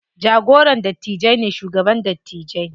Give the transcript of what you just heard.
Jagoran dattijai ne shugaban dattijai.